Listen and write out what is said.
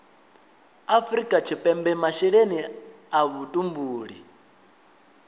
afrika tshipembe masheleni a vhutumbuli